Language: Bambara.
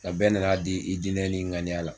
Aa bɛɛ nan'a di i diinɛ n'i ŋaniya la.